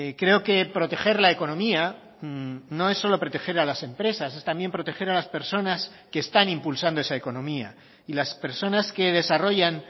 creo que proteger la economía no es solo proteger a las empresas es también proteger a las personas que están impulsando esa economía y las personas que desarrollan